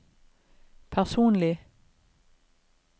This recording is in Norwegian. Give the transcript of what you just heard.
personlig